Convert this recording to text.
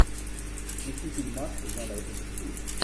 включи фильмас жанра детектив